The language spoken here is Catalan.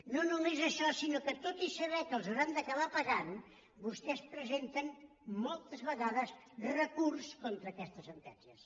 no només això sinó que tot i saber que els hauran d’acabar pagant vostès presenten moltes vegades re·curs contra aquestes sentències